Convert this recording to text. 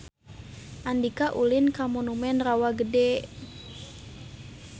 Andika ulin ka Monumen Rawa Gede